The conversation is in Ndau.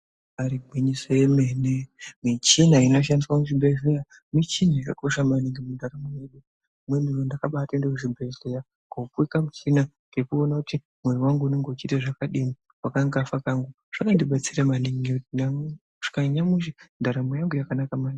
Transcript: Ibari gwinyiso remene michina inoshandiswa muzvibhehleya michina yakakosha maningi mundaramo mwedu zuwa rimweni ndakabaende kuchibhehleya kopuwa kamuchina kekuone kuti mwoyo wangu unenge uchiri zvakadini wakanga wafa kamwe zvakandibetsera maningi ngekuti nanyamushi uno ndaramu yangu yakanaka maningi.